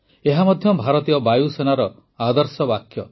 ଏହା ମଧ୍ୟ ଭାରତୀୟ ବାୟୁସେନାର ଆଦର୍ଶ ବାକ୍ୟ